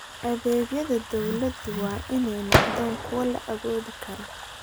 Adeegyada dawladdu waa inay noqdaan kuwo la awoodi karo.